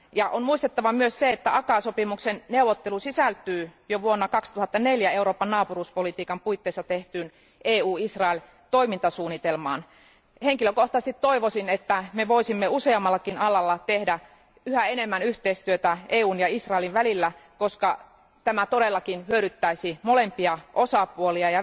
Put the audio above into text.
On muistettava myös se, että ACAA sopimuksen neuvottelu sisältyy jo vuonna 2004 Euroopan naapuruuspolitiikan puitteissa tehtyyn EU Israel toimintasuunnitelmaan. Henkilökohtaisesti toivoisin, että me voisimme useammallakin alalla tehdä yhä enemmän yhteistyötä EUn ja Israelin välillä, koska tämä todellakin hyödyttäisi molempia osapuolia.